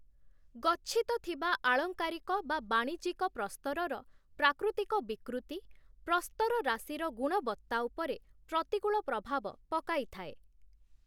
ଗଚ୍ଛିତ ଥିବା ଆଳଂକାରିକ/ବାଣିଜ୍ୟିକ ପ୍ରସ୍ତରର ପ୍ରାକୃତିକ ବିକୃତି, ପ୍ରସ୍ତରରାଶିର ଗୁଣବତ୍ତା ଉପରେ ପ୍ରତିକୂଳ ପ୍ରଭାବ ପକାଇଥାଏ ।